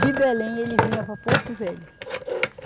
De Belém ele vinha para Porto Velho.